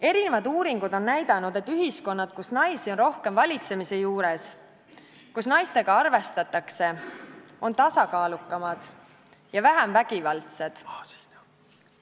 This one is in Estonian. Eri uuringud on näidanud, et ühiskonnad, kus naisi on rohkem valitsemise juures, kus naistega arvestatakse, on tasakaalukamad ja vähem vägivaldsed.